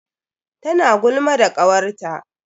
Tana gulma da kawarta.